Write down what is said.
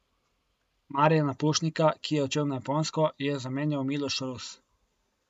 Marjana Pušnika, ki je odšel na Japonsko, je zamenjal Miloš Rus.